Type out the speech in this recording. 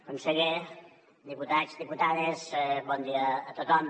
conseller diputats diputades bon dia a tothom